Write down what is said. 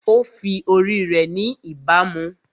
Ó fi ori rẹ̀ ni ìbámu